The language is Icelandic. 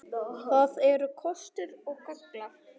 Það eru kostir og gallar.